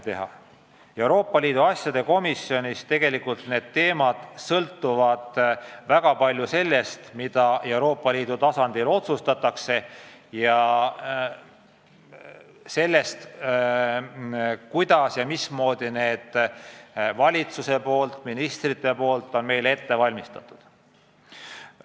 Need teemad sõltuvad tegelikult väga palju sellest, mida Euroopa Liidu tasandil otsustatakse, ja sellest, kuidas valitsus ehk ministrid on need meile ette valmistanud.